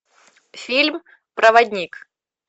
фильм проводник